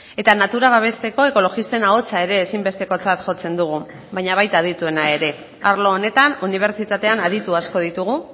eta natura babesteko ekologisten ahotsa ere ezinbestekotzat jotzen dugu baina baita adituena ere arlo honetan unibertsitatean aditu asko ditugu